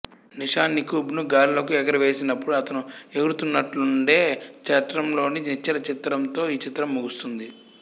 నిషాన్ నికుంబ్ ను గాలిలోకి ఎగరవేసినప్పుడు అతను ఎగురుతున్నట్లుండే చట్రంలోని నిశ్చల చిత్రంతో ఈ చిత్రం ముగుస్తుంది